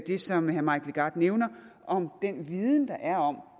det som herre mike legarth nævner om den viden der er om